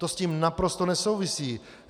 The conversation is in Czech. To s tím naprosto nesouvisí.